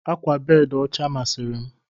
Ákwà bedi ọcha masịri m.